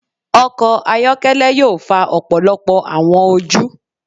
Ọkọ ayọkẹlẹ yoo fa ọpọlọpọ awọn oju